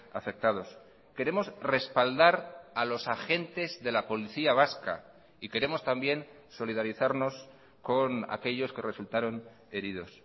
afectados queremos respaldar a los agentes de la policía vasca y queremos también solidarizarnos con aquellos que resultaron heridos